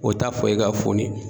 O t'a fɔ e ka foni